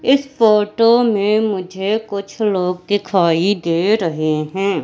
इस फोटो में मुझे कुछ लोग दिखाई दे रहे हैं।